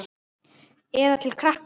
Eða til krakka?